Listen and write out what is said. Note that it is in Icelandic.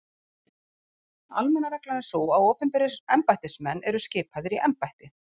Einfætti sprengjumaðurinn tjáir sig